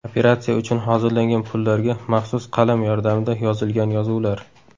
Operatsiya uchun hozirlangan pullarga maxsus qalam yordamida yozilgan yozuvlar.